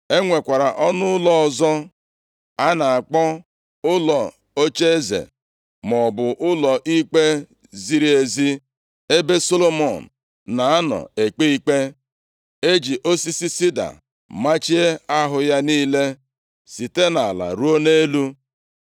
E nwekwara ọnụ ụlọ ọzọ a na-akpọ, Ụlọ Ocheeze, maọbụ Ụlọ Ikpe ziri ezi ebe Solomọn na-anọ ekpe ikpe. E ji osisi sida machie ahụ ya niile, site nʼala ruo nʼelu.